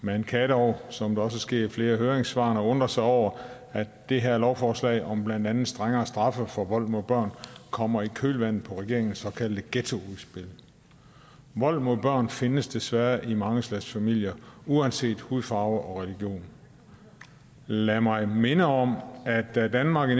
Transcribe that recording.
man kan dog som det også sker i flere af høringssvarene undre sig over at det her lovforslag om blandt andet strengere straffe for vold mod børn kommer i kølvandet på regeringens såkaldte ghettoudspil vold mod børn findes desværre i mange slags familier uanset hudfarve og religion lad mig minde om at da danmark i